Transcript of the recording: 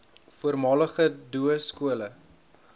voormalige doo skole